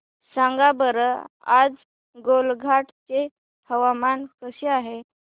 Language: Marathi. सांगा बरं आज गोलाघाट चे हवामान कसे आहे